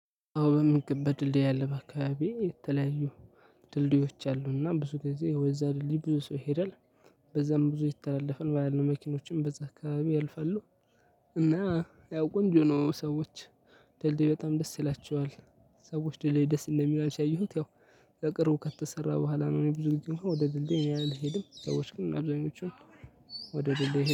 አዎ በሚገባ ድልድይ አለ በአካባቢዬ የተለያዩ ድልድዮች አሉ እና ብዙ ጊዜ ወደዛ ድልድይ ብዙ ሰው ይሄዳል። በዛም ብዙ የተላለፈና ያሉ መኪኖችን በዛ አካባቢ ያልፋሉ። እና ያው ቆንጆ ነው ሰዎች ድልድይ በጣም ደስ ይላቸዋል። ሰዎች ድል ደስ እንደሚላቸው ያየሁት ለቅርቡ ከተሰራ በኋላ ነው እኔ ብዙ ጊዜ ወደ ድልድይ እኔ አልሄድም። ሰዎች ግን አብዛኞቹን ወደ ድልድይ